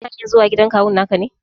Kana hanyar zuwa gidan kawun ka ne?